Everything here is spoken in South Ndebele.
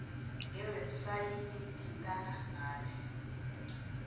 ngewebhsayithi thintana nathi